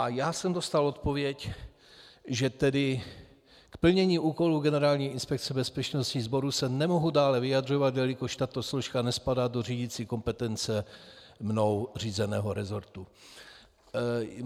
A já jsem dostal odpověď, že tedy k plnění úkolů Generální inspekce bezpečnostních sborů se nemohu dále vyjadřovat, jelikož tato složka nespadá do řídicí kompetence mnou řízeného resortu.